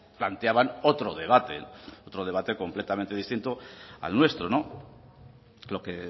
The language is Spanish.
planteaban otro debate otro debate completamente distinto al nuestro lo que